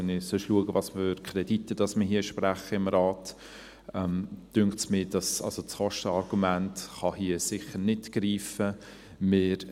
Wenn ich schaue, welche Kredite wir sonst hier im Rat sprechen, dünkt mich, dass das Kostenargument hier sicher nicht greifen kann.